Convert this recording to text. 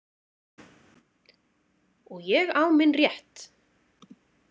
Og ég á minn rétt.